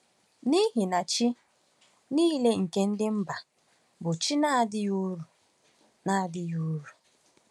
N’ihi na chi niile nke ndị mba bụ chi na-adịghị uru. na-adịghị uru.